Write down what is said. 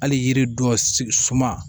Hali yiri dɔ sigi suman